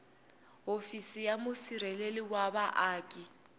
hofisi ya musirheleli wa vaaki